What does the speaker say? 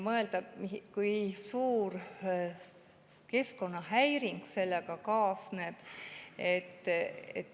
Mõtleme sellele, kui suur keskkonnahäiring sellega kaasneb.